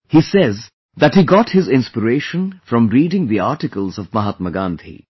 He tells that he got his inspiration from reading the articles of Mahatma Gandhi